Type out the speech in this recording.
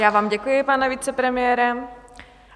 Já vám děkuji, pane vicepremiére.